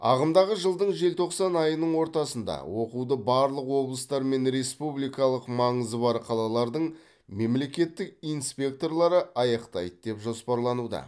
ағымдағы жылдың желтоқсан айының ортасында оқуды барлық облыстар мен республикалық маңызы бар қалалардың мемлекеттік инспекторлары аяқтайды деп жоспарлануда